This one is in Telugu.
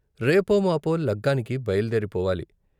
రేపోమాపో లగ్గానికి బయల్దేరి పోవాలి.